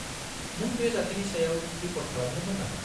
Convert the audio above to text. नों बे जाथायनि सायाव रिपर्ट खालामदोंमोन नामा?